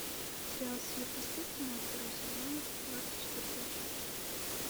сериал сверхъестественное второй сезон двадцать четвертая часть